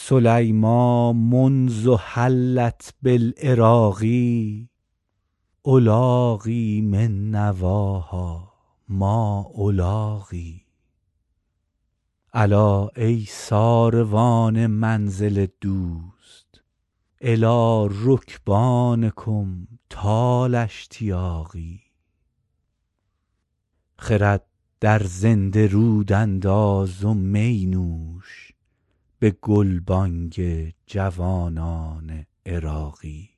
سلیمیٰ منذ حلت بالعراق ألاقی من نواها ما ألاقی الا ای ساروان منزل دوست إلی رکبانکم طال اشتیاقی خرد در زنده رود انداز و می نوش به گلبانگ جوانان عراقی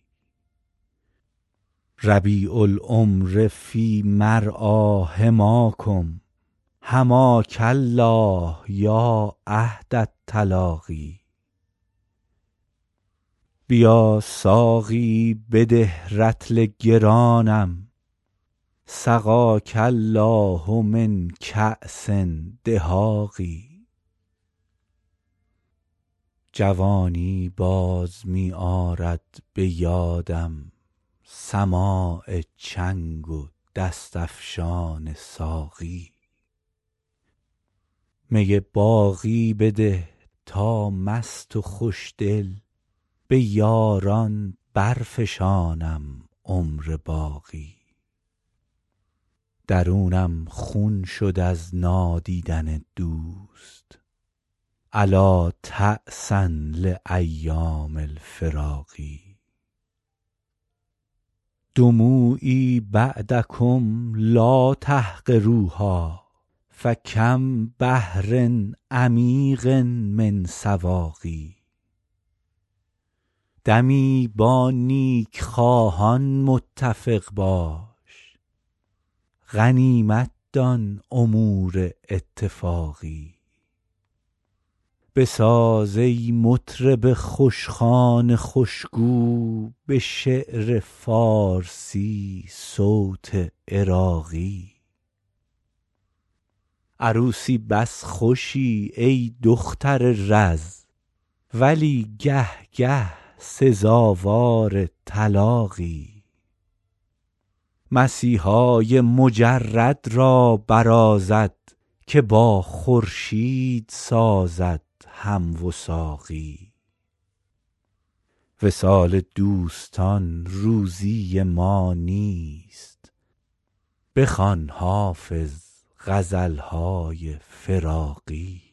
ربیع العمر فی مرعیٰ حماکم حماک الله یا عهد التلاقی بیا ساقی بده رطل گرانم سقاک الله من کأس دهاق جوانی باز می آرد به یادم سماع چنگ و دست افشان ساقی می باقی بده تا مست و خوشدل به یاران برفشانم عمر باقی درونم خون شد از نادیدن دوست ألا تعسا لأیام الفراق دموعی بعدکم لا تحقروها فکم بحر عمیق من سواق دمی با نیکخواهان متفق باش غنیمت دان امور اتفاقی بساز ای مطرب خوشخوان خوشگو به شعر فارسی صوت عراقی عروسی بس خوشی ای دختر رز ولی گه گه سزاوار طلاقی مسیحای مجرد را برازد که با خورشید سازد هم وثاقی وصال دوستان روزی ما نیست بخوان حافظ غزل های فراقی